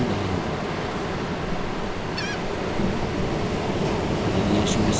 और यह कभी भी ऋणात्मकनिगेटिव वेल्यू नहीं होगी